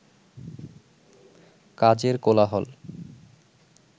কাজের কোলাহল